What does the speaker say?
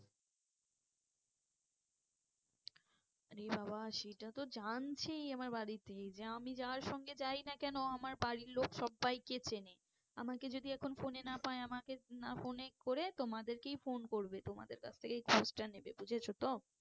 আরে বাবা সেটা তো জানছেই আমার বাড়িতে যে আমি যার সঙ্গেই যাই না কেন আমার বাড়ির লোক সব্বাইকে চেনে আমাকে যদি এখন phone এ না পায় আমাকে না phone এ করে তোমাদেরকেই phone করবে তোমাদের কাছ থেকেই খোঁজটা নেবে বুঝেছো তো?